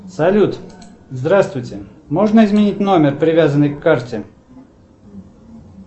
салют здравствуйте можно изменить номер привязанный к карте